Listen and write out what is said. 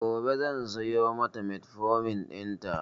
Gobe zan siyo mata metformin ɗin ta